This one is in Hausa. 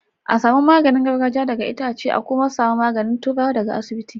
a samu magani gargajia daga Itace an ku ma samu magani turawa da ga iasibiti